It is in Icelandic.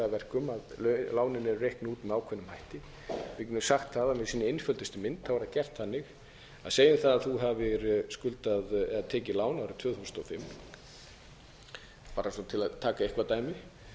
verkum að lánin eru reiknuð út með ákveðnum hætti við getum sagt það að í sinni einföldustu mynd er það gert þannig að segjum það að þú hafi skuldað eða tekið lán árið tvö þúsund og fimm bara svona til að taka eitthvað dæmi